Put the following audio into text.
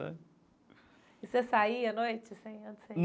Sabe. E você saía à noite assim a onde você ia?